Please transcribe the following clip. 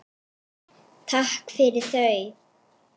Takk fyrir þau.